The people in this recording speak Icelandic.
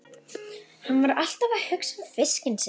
Hann var alltaf að hugsa um fiskinn sinn.